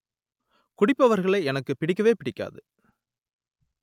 குடிப்பவர்களை எனக்குப் பிடிக்கவே பிடிக்காது